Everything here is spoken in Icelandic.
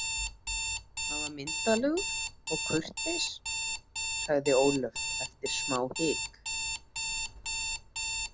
Hann var myndarlegur og kurteis, sagði Ólöf eftir smáhik.